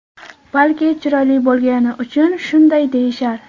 Balki chiroyli bo‘lgani uchun shunday deyishar?